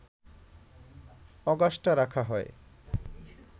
Augusta রাখা হয়